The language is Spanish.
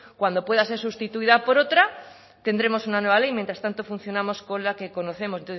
cuando pueda ser sustituida por otra tendremos una nueva ley mientras tanto funcionamos con la que conocemos